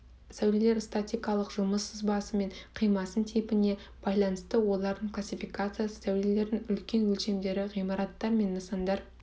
сәулелер статикалық жұмыс сызбасы мен қимасы типіне байланысты олардың классификациясы сәулелердің үлкен өлшемдері ғимараттар мен нысандар